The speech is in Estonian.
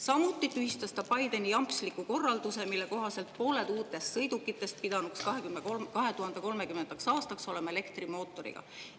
Samuti tühistas ta Bideni jampsliku korralduse, mille kohaselt pooled uutest sõidukitest pidanuks 2030. aastaks olema elektrimootoriga.